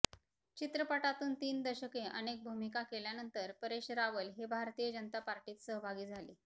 चित्रपटातून तीन दशके अनेक भूमिका केल्यानंतर परेश रावल हे भारतीय जनता पार्टीत सहभागी झाले